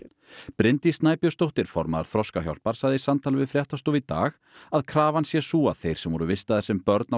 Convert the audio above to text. Bryndís Snæbjörnsdóttir formaður Þroskahjálpar sagði í samtali við fréttastofu í dag að krafan sé sú að þeir sem voru vistaðir sem börn á